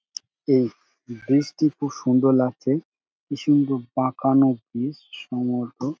এই ব্রিজ টি খুব সুন্দর লাগছে কি সুন্দর বাঁকানো ব্রিজ সমুদ্র--